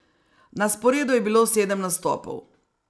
Na sporedu je bilo sedem nastopov.